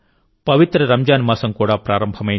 పవిత్ర రంజాన్ మాసం కూడా ప్రారంభమైంది